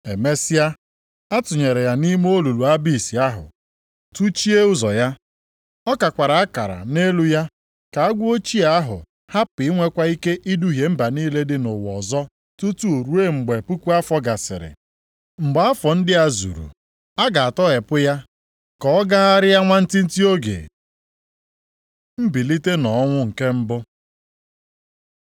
Emesịa, a tụnyere ya nʼime olulu Abis ahụ, tụchie ụzọ ya. Ọ kakwara akara nʼelu ya ka agwọ ochie ahụ hapụ inwekwa ike iduhie mba niile dị nʼụwa ọzọ tutu ruo mgbe puku afọ gasịrị. Mgbe afọ ndị a zuru, a ga-atọghepụ ya ka ọ gagharịa nwantịntị oge. Mbilite nʼọnwụ nke mbụ